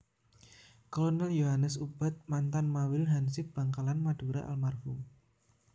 Kolonel Yohanes Ubad Mantan Mawil hansip Bankalan Madura almarhum